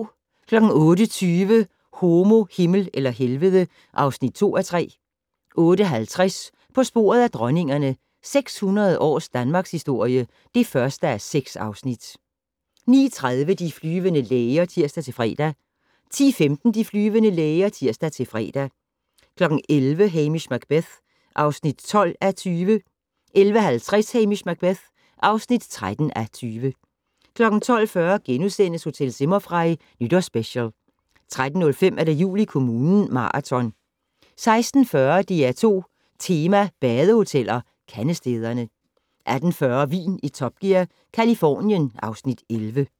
08:20: Homo, Himmel eller Helvede (2:3) 08:50: På sporet af dronningerne - 600 års danmarkshistorie (1:6) 09:30: De flyvende læger (tir-fre) 10:15: De flyvende læger (tir-fre) 11:00: Hamish Macbeth (12:20) 11:50: Hamish Macbeth (13:20) 12:40: Hotel Zimmerfrei - Nytårsspecial * 13:05: Jul i kommunen - maraton 16:40: DR2 Tema: badehoteller - Kandestederne 18:40: Vin i Top Gear - Californien (Afs. 11)